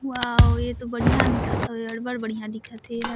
वाव ये तो बढ़िया दिखत हवे अब्बड़ बढ़िया दिखत हे ए हर --